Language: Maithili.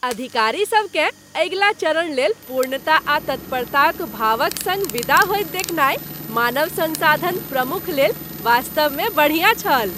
अधिकारीसभकेँ अगिला चरण लेल पूर्णता आ तत्परताक भावक सङ्ग विदा होइत देखनाय मानव संसाधन प्रमुख लेल वास्तवमे बढ़िया छल।